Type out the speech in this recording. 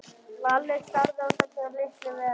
Lalli starði á þessa litlu veru.